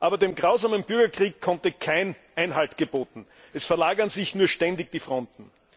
Aber dem grausamen Bürgerkrieg konnte kein Einhalt geboten werden. Es verlagern sich nur ständig die Fronten.